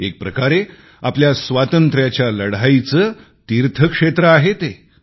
एकप्रकारे आपल्या स्वातंत्र्याच्या लढाईचे तीर्थक्षेत्र आहे ते